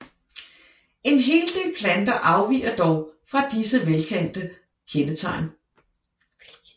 En hel del planter afviger dog fra disse velkendte kendetegn